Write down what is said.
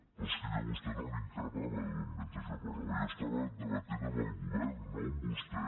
però és que jo a vostè no l’increpava mentre jo parlava jo estava de·batent amb el govern no amb vostè